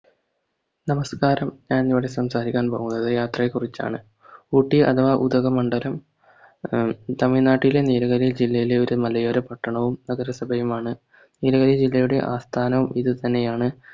നമസ്കാരം ഞാൻ ഇന്ന് ഇവിടെ സംസാരിക്കാൻ പോകുന്നത് യാത്രയെ കുറിച്ചാണ് ഊട്ടി അഥവാ ഉധകമണ്ഡലം ഉം തമിഴ്നാട്ടിലെ നീലഗിരി ജില്ലയിലെ ഒരു മലയോര പട്ടണവും നഗരസഭയും ആണ് നീലഗിരി ജില്ലയുടെ ആസ്ഥാനവും ഇത് തന്നെയാണ്